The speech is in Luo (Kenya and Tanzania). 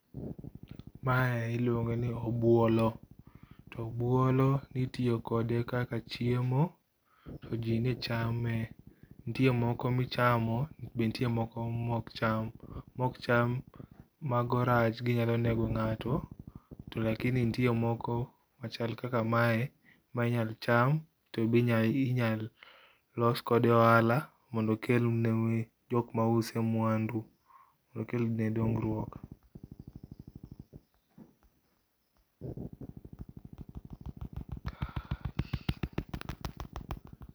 Mae iluongo ni obuolo, to obuolo nitiyo kode kaka chiemo to jii nechame. Nitie moko michamo be nitie moko maok cham. Maok cham, mago rach ginyalo nego ngato to lakini nitie moko machal kaka mae minyal cham tobe inyal los kode ohala mondo okel ne jokma use mwandu mondo okelne dongruok